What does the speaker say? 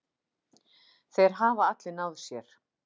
Þeir hafa allir náð sér.